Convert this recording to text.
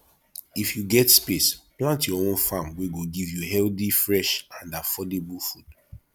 if you get space plant your own farm wey go give you healthy fresh and affordable food